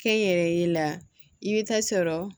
Kɛ n yɛrɛ ye la i bɛ taa sɔrɔ